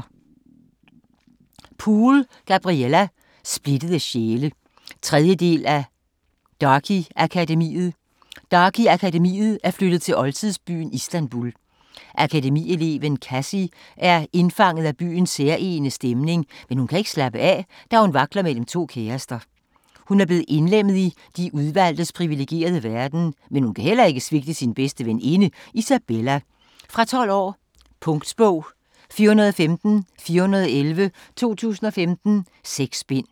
Poole, Gabriella: Splittede sjæle 3. del af Darke Akademiet. Darke Akademiet er flyttet til oldtidsbyen Istanbul. Akademi-eleven Cassie er indfanget af byens særegne stemning, men hun kan ikke slappe af, da hun vakler mellem to kærester. Hun er blevet indlemmet i De Udvalgtes privilegerede verden, men hun kan heller ikke svigte sin bedste veninde, Isabella. Fra 12 år. Punktbog 415411 2015. 6 bind.